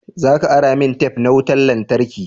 Za ka ara min tef na wutan lantarki.